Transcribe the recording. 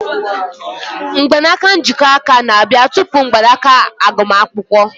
Mgbanaka njikọ aka na-abịa tupu mgbanaka agbamakwụkwọ.